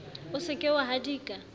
o se ke wa hadika